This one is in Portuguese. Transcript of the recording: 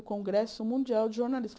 Congresso Mundial de Jornalista